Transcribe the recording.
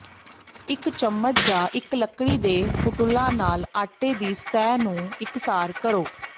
ਇੱਕ ਚਮਚ ਜਾਂ ਇੱਕ ਲੱਕੜੀ ਦੇ ਫੁਟੁਲਾ ਨਾਲ ਆਟੇ ਦੀ ਸਤਹ ਨੂੰ ਇਕਸਾਰ ਕਰੋ